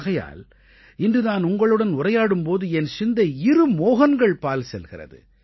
ஆகையால் இன்று நான் உங்களுடன் உரையாடும் போது என் சிந்தை இரு மோஹன்கள் பால் செல்கிறது